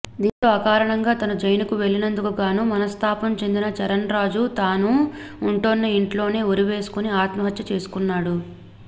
దీంతో అకారణంగా తను జైలుకు వెళ్లినందుకుగాను మనస్తాపం చెందిన చరణ్ రాజు తాను ఉంటున్న ఇంట్లోనే ఉరివేసుకొని ఆత్మహత్య చేసుకున్నాడు